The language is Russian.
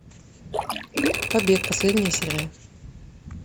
побег последняя серия